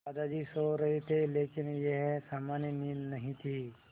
दादाजी सो रहे थे लेकिन यह सामान्य नींद नहीं थी